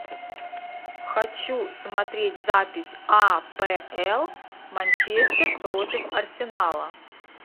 хочу смотреть запись апл манчестер против арсенала